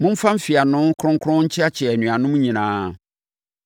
Momfa mfeano kronkron nkyeakyea anuanom nyinaa.